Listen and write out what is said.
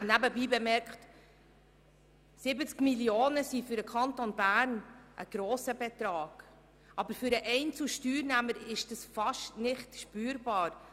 Nebenbei bemerkt sind 70 Mio. Franken für den Kanton Bern ein grosser Betrag, aber für den einzelnen Steuerzahler ist das beinahe nicht spürbar.